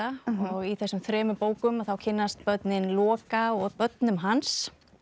og í þessum þremur bókum þá kynnast börnin Loka og börnum hans